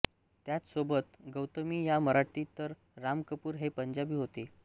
त्याच सोबत गौतमी ह्या मराठी तर राम कपूर हे पंजाबी होते